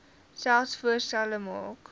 selfs voorstelle maak